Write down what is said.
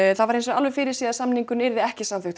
það var fyrirséð að samningurinn yrði ekki samþykktur